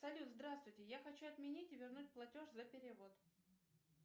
салют здравствуйте я хочу отменить и вернуть платеж за перевод